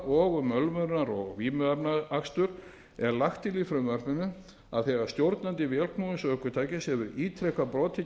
og um ölvunar og vímuefnaakstur er lagt til í frumvarpinu að þegar stjórnandi vélknúins ökutækis hefur ítrekað brotið